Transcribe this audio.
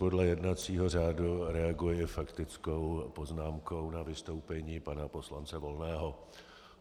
Podle jednacího řádu reaguji faktickou poznámkou na vystoupení pana poslance Volného.